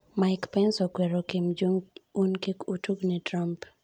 Mike Pence okwero Kim Jong-un kik otugne Trump.